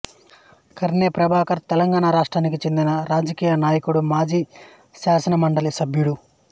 కర్నె ప్రభాకర్ తెలంగాణ రాష్ట్రానికి చెందిన రాజకీయ నాయకుడు మాజీ శాసనమండలి సభ్యుడు